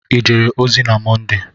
I jere ozi na Mọnde?